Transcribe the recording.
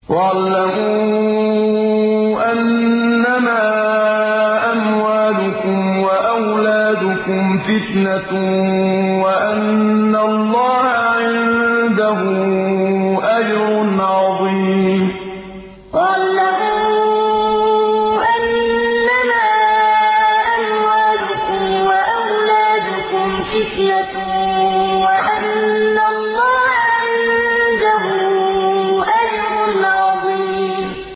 وَاعْلَمُوا أَنَّمَا أَمْوَالُكُمْ وَأَوْلَادُكُمْ فِتْنَةٌ وَأَنَّ اللَّهَ عِندَهُ أَجْرٌ عَظِيمٌ وَاعْلَمُوا أَنَّمَا أَمْوَالُكُمْ وَأَوْلَادُكُمْ فِتْنَةٌ وَأَنَّ اللَّهَ عِندَهُ أَجْرٌ عَظِيمٌ